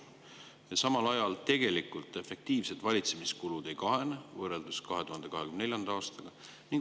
Samal ajal efektiivsed valitsemiskulud tegelikult ei kahane, võrreldes 2024. aastaga.